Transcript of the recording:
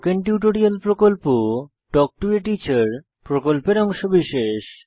spoken tutorial প্রকল্প talk to a teacher প্রকল্পের অংশবিশেষ